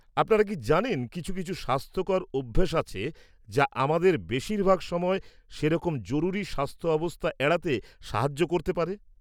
-আপনারা কি জানেন কিছু কিছু স্বাস্থ্যকর অভ্যাস আছে যা আমাদের বেশিরভাগ সময় সেরকম জরুরী স্বাস্থ্য অবস্থা এড়াতে সাহায্য করতে পারে?